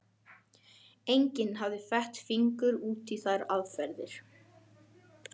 Enginn hafði fett fingur út í þær aðferðir.